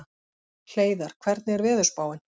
Hleiðar, hvernig er veðurspáin?